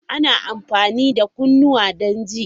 Ana amfani da kunnuwa don ji.